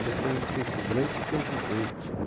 Ele foi o pre o grande presidente, né?